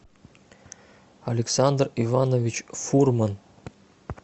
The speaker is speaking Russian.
александр иванович фурман